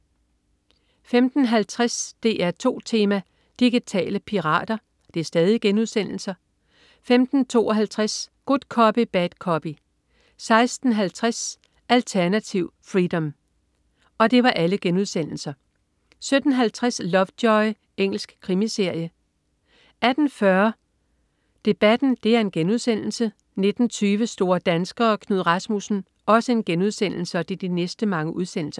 15.50 DR2 Tema: Digitale pirater* 15.52 Good Copy Bad Copy* 16.50 Alternativ freedom* 17.50 Lovejoy. Engelsk krimiserie 18.40 Debatten* 19.20 Store danskere. Knud Rasmussen*